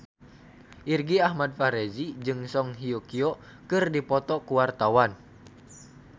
Irgi Ahmad Fahrezi jeung Song Hye Kyo keur dipoto ku wartawan